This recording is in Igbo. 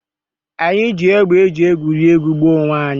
Anyị ji égbè e ji egwuri egwuregwu gbaa onwe anyị